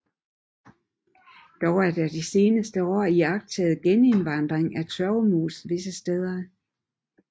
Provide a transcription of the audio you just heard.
Dog er der de seneste år iagttaget genindvandring af tørvemos visse steder